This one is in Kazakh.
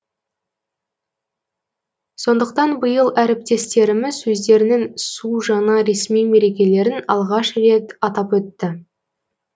сондықтан биыл әріптестеріміз өздерінің су жаңа ресми мерекелерін алғаш рет атап өтті